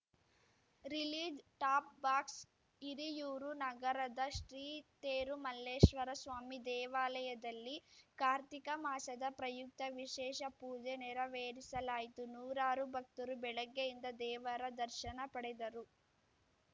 release top box Hiriyur ನಗರದ ಶ್ರೀ ತೇರುಮಲ್ಲೇಶ್ವರಸ್ವಾಮಿ ದೇವಾಲಯದಲ್ಲಿ ಕಾರ್ತಿಕ ಮಾಸದ ಪ್ರಯುಕ್ತ ವಿಶೇಷ ಪೂಜೆ ನೆರವೇರಿಸಲಾಯಿತು ನೂರಾರು ಭಕ್ತರು ಬೆಳಗ್ಗೆಯಿಂದ ದೇವರ ದರ್ಶನ ಪಡೆದರು